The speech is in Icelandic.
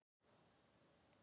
Ég fylgist vel með þeim.